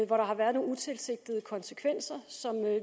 hvor der har været nogle utilsigtede konsekvenser som